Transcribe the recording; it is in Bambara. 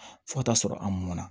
Fo ka taa sɔrɔ an mɔnna